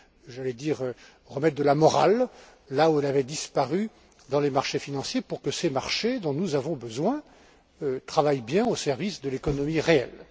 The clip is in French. J'allais dire remettre de la morale là où elle avait disparu, dans les marchés financiers, pour que ces marchés dont nous avons besoin travaillent bien au service de l'économie réelle.